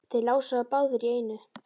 Þeir lásu það báðir í einu.